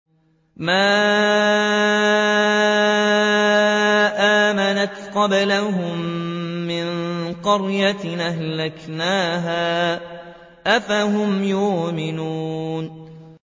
مَا آمَنَتْ قَبْلَهُم مِّن قَرْيَةٍ أَهْلَكْنَاهَا ۖ أَفَهُمْ يُؤْمِنُونَ